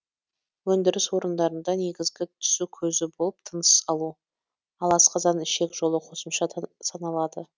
өндіріс орындарында негізгі түсу көзі болып тыныс алу ал асқазан ішек жолы қосымша саналады